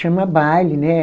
Chama baile, né?